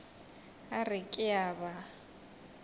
a re ke a ba